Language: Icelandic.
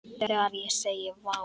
Þegar ég segi: Vá!